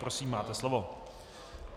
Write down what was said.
Prosím, máte slovo.